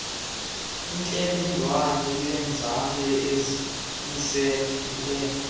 intlebendwane yoonzame uzimisele